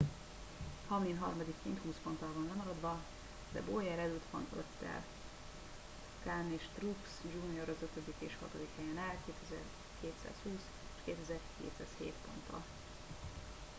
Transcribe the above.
hamlin harmadikként húsz ponttal van lemaradva de bowyer előtt van öttel kahne és truex jr az ötödik és hatodik helyen áll 2220 és 2207 ponttal